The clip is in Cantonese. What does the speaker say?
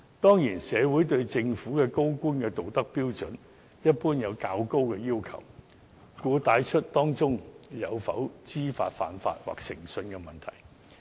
當然，社會對政府高官的道德標準一般有較高的要求，故此帶出了當中有否知法犯法或誠信的問題。